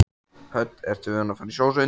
Hödd: Ertu vön að fara í sjósund?